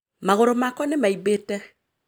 Maguru makwa ni maimbite